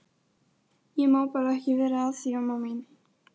Í kaldtempruðu loftslagi er efnaveðrunin hæg enda lofthiti lágur.